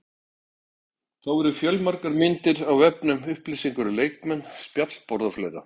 Þá eru fjölmargar myndir á vefnum, upplýsingar um leikmenn, spjallborð og fleira.